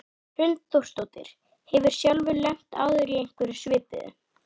Hrund Þórsdóttir: Hefurðu sjálfur lent áður í einhverju svipuðu?